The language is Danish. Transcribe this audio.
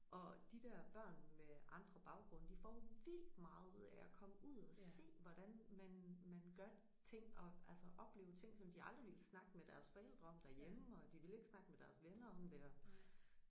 Og de der børn med andre baggrunde de får vildt meget ud af at komme ud og se hvordan man man gør ting og altså opleve ting som de aldrig ville snakke med deres forældre om derhjemme og de vil ikke snakke med deres venner om det og